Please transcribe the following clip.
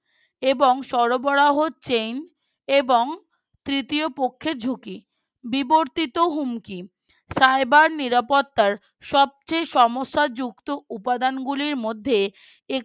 এবং সরবরাহ Chain এবং তৃতীয় পক্ষের ঝুঁকি বিবর্তিত হুমকি Cyber নিরাপত্তার সবচেয়ে সমস্যা যুক্ত উপাদান গুলির মধ্যে